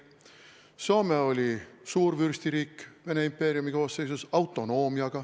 Soome oli suurvürstiriik Vene impeeriumi koosseisus, tal oli autonoomia.